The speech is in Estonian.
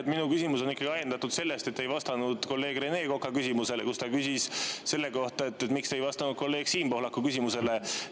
Jah, minu küsimus on ikkagi ajendatud sellest, et te ei vastanud kolleeg Rene Koka küsimusele, kui ta küsis selle kohta, miks te ei vastanud kolleeg Siim Pohlaku küsimusele.